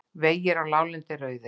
Vegir á láglendi eru auðir